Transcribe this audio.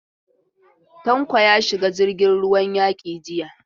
Tanko ya shiga jirgin ruwan yaki jiya.